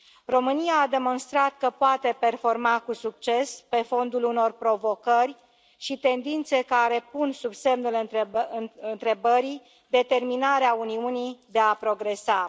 România a demonstrat că poate performa cu succes pe fondul unor provocări și tendințe care pun sub semnul întrebării determinarea Uniunii de a progresa.